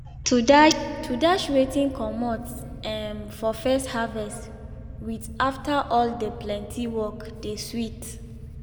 to dash to dash wetin comot um for first harvest with after all de plenty work de sweet.